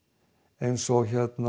eins og